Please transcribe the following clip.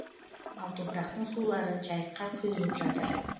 ал топырақтың сулары жайыққа құйылып жатыр